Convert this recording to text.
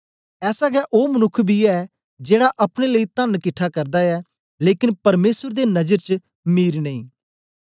ऐसा गै ओ मनुक्ख बी ऐ जेड़ा अपने लेई तन किट्ठा करदा ऐ लेकन परमेसर दे नजर च मीर नेई